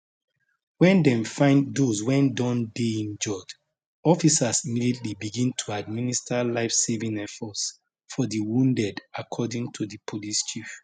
wen dem find dose wey don dey injured officers immediately begin to administer lifesaving efforts for di wounded according to di police chief